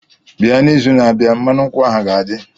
bia n'izu na-abịa, mmanụ nkwụ ahụ ga-adị.